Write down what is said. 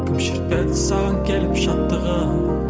кім шертпеді саған келіп шаттығын